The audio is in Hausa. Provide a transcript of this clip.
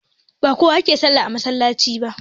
Ba kowa ke sallah a masallaci ba